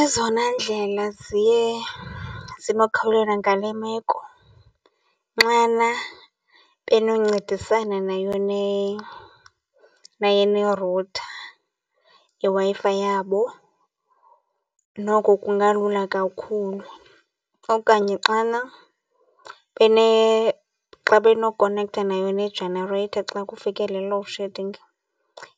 Ezona ndlela ziye zibakhawulela ngale meko nxana benoncedisana nayo nayo nerutha yeWi-Fi yabo noko kungalula kakhulu okanye xana xa benokonektha nayo ne-generator xa kufike le load shedding